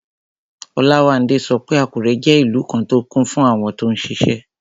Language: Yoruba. Olawande sọ pé Àkúrẹ́ jẹ́ ìlú kan tó kún fún àwọn tó n ṣiṣẹ́